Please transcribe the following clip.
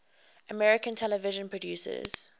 american television producers